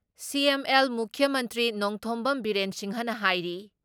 CM ꯑꯦꯜ ꯃꯨꯈ꯭ꯌ ꯃꯟꯇ꯭ꯔꯤ ꯅꯣꯡꯊꯣꯝꯕꯝ ꯕꯤꯔꯦꯟ ꯁꯤꯡꯍꯅ ꯍꯥꯏꯔꯤ